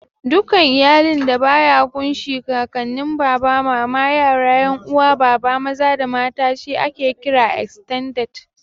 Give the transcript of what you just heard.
Dukkan iyalin da ya ƙun shi Kakanin, Baba, Mama, yara, 'yan uwa Baba maza da mata she ake kira "Estended".